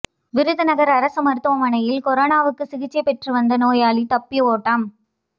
விருதுநகர் அரசு மருத்துவமனையில் கொரோனாவுக்கு சிகிச்சை பெற்றுவந்த நோயாளி தப்பி ஓட்டம்